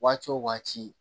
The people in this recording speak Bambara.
Waati o waati